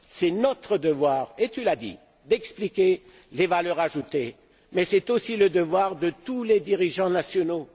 C'est notre devoir et tu l'as dit d'expliquer les valeurs ajoutées, mais c'est aussi le devoir de tous les dirigeants nationaux.